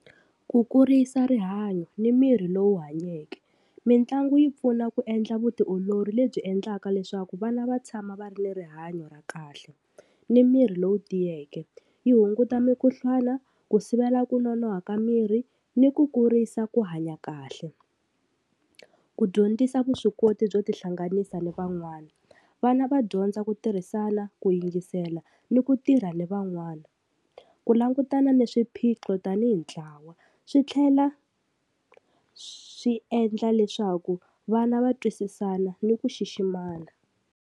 Ku kurisa rihanyo ni mirhi lowu hanyeke, mitlangu yi pfuna ku endla vutiolori lebyi endlaka leswaku vana va tshama va ri ni rihanyo ra kahle ni miri lowu tiyeke, yi hunguta mikhuhlwana ku sivela ku nonoha ka miri ni ku kurisa ku hanya kahle. Ku dyondzisa vuswikoti byo ti hlanganisa ni van'wana, vana va dyondza ku tirhisana ku yingisela ni ku tirha ni van'wana ku langutana na swiphiqo tanihi ntlawa swi tlhela swi endla leswaku vana va twisisana ni ku xiximana.